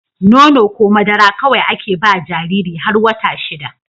Nono ko madara kawai ake bawa Jariri har wata shida